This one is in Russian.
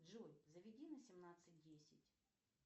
джой заведи на семнадцать десять